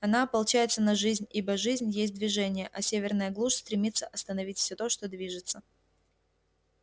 она ополчается на жизнь ибо жизнь есть движение а северная глушь стремится остановить всё то что движется